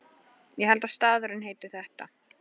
Ég held að staðurinn heiti þetta.